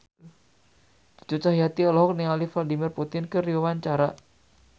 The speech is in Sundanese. Cucu Cahyati olohok ningali Vladimir Putin keur diwawancara